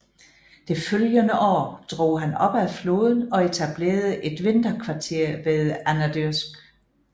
Det følgende år drog han op ad floden og etablerede et vinterkvarter ved Anadyrsk